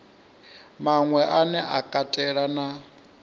maṅwe ane a katela na